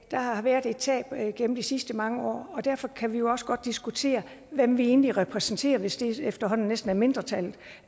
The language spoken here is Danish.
der har været et tab gennem de sidste mange år og derfor kan vi også godt diskutere hvem vi egentlig repræsenterer hvis det efterhånden næsten er mindretallet